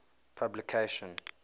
publication